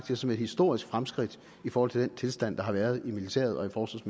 jeg som et historisk fremskridt i forhold til den tilstand der har været i militæret og